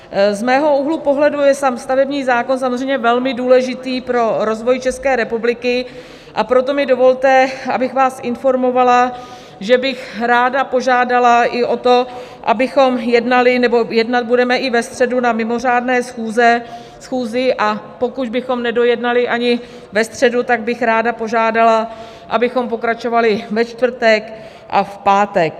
Z mého úhlu pohledu je sám stavební zákon samozřejmě velmi důležitý pro rozvoj České republiky, a proto mi dovolte, abych vás informovala, že bych ráda požádala i o to, abychom jednali, nebo jednat budeme, i ve středu na mimořádné schůzi, a pokud bychom nedojednali ani ve středu, tak bych ráda požádala, abychom pokračovali ve čtvrtek a v pátek.